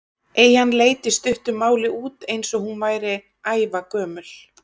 Eyjan leit í stuttu máli út eins og hún væri ævagömul.